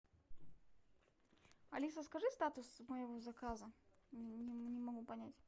алиса скажи статус моего заказа не могу понять